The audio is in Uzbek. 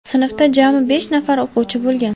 Sinfda jami besh nafar o‘quvchi bo‘lgan.